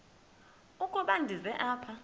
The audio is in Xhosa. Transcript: ukuba ndize apha